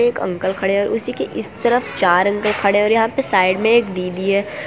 एक अंकल खड़े हुए हैं उसी के इस तरफ चार अंकल खड़े हुए हैं और यहां पे साइड में एक दीदी है।